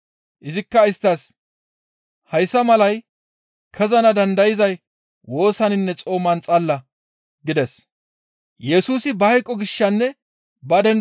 Izikka isttas, «Hayssa malay kezana dandayzay woosaninne xooman xalla» gides.